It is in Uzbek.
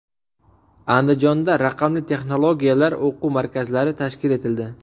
Andijonda raqamli texnologiyalar o‘quv markazlari tashkil etildi.